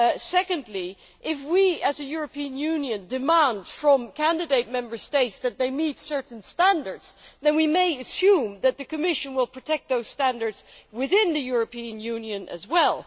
Secondly, if we as a European Union demand from candidate Member States that they meet certain standards, then we may assume that the Commission will protect those standards within the European Union as well.